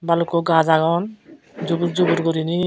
bhalukku gaj agon jubur jubur guriney.